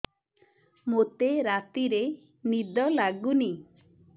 ମୋତେ ରାତିରେ ନିଦ ଲାଗୁନି